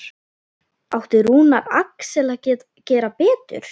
Átti Rúnar Alex að gera betur?